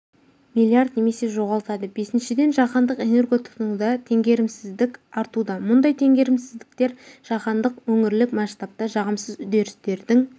миллиард немесе жоғалтады бесіншіден жаһандық энерго тұтынуда теңгерімсіздік артуда мұндай теңгерімсіздіктер жаһандық өңірлік масштабта жағымсыз үдерістердің